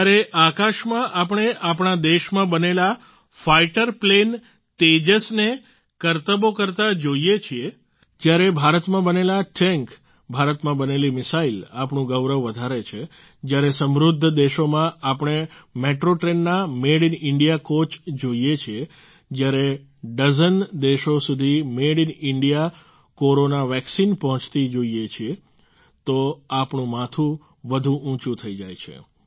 જ્યારે આકાશમાં આપણે આપણા દેશમાં બનેલા ફાઈટર પ્લેન તેજસ ને કરતબો કરતાં જોઈએ છીએ જ્યારે ભારતમાં બનેલા ટેન્ક ભારતમાં બનેલી મિસાઈલ આપણું ગૌરવ વધારે છે જ્યારે સમૃદ્ધ દેશોમાં આપણે મેટ્રો ટ્રેનના મેડ ઈન ઈન્ડિયા કોચ જોઈએ છીએ જ્યારે ડઝન દેશો સુધી made in India corona vaccine પહોંચતી જોઈએ છીએ તો આપણું માથું વધુ ઉંચું થઈ જાય છે